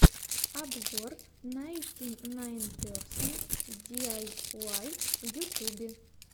обзор найнтинайнперсент диайуай в ютьюбе